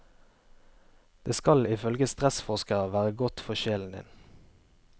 Det skal ifølge stressforskere være godt for sjelen din.